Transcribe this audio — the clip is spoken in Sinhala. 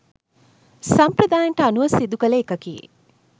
සම්ප්‍රදායයන්ට අනුව සිදුකළ එකකි.